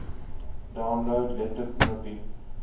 download letter knoppie